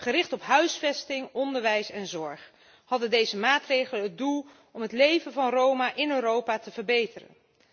Gericht op huisvesting, onderwijs en zorg hadden deze maatregelen het doel het leven van Roma in Europa te verbeteren.